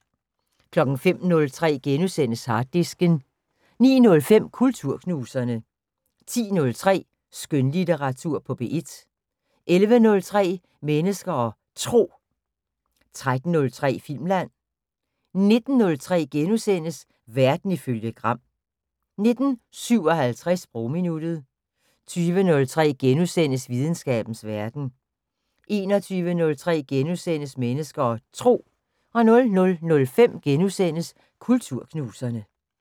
05:03: Harddisken * 09:05: Kulturknuserne 10:03: Skønlitteratur på P1 11:03: Mennesker og Tro 13:03: Filmland 19:03: Verden ifølge Gram * 19:57: Sprogminuttet 20:03: Videnskabens Verden * 21:03: Mennesker og Tro * 00:05: Kulturknuserne *